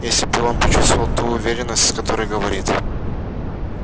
если бы он почувствовал ту уверенность с которой говорит